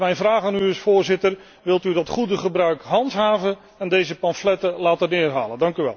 Dus mijn vraag aan u is, Voorzitter wilt u dat goede gebruik handhaven en deze pamfletten laten weghalen?